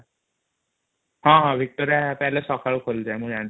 ହଁ Victoria Palace ସକାଳୁ ଖୋଲି ଯାଏ ମୁ ଜାଣିଛି |